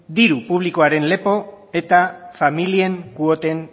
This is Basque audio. diru publikoaren lepo eta familien kuoten